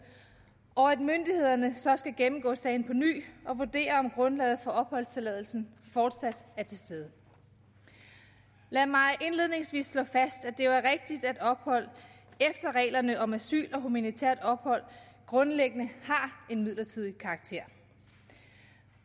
og at myndighederne så skal gennemgå sagen på ny og vurdere om grundlaget for opholdstilladelsen fortsat er til stede lad mig indledningsvis slå fast at det jo er rigtigt at ophold efter reglerne om asyl og humanitært ophold grundlæggende har en midlertidig karakter